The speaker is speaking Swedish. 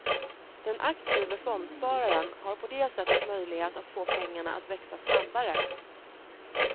Den aktive fondspararen har på det sättet möjlighet att få pengarna att växa snabbare.